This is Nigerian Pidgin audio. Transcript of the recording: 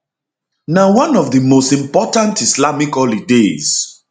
na one of di most important islamic holidays